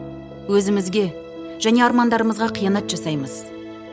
өзімізге және армандарымызға қиянат жасаймыз